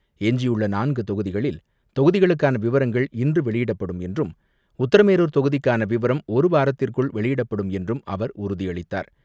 எஞ்சியுள்ளநான்குதொகுதிகளில் தொகுதிகளுக்கானவிவரங்கள் இன்றுவெளியிடப்படும் என்றும் உத்தரமேரூர் தொகுதிக்கானவிவரம் ஒருவாரத்திற்குள் வெளியிடப்படும் என்றும் அவர் உறுதியளித்தார்.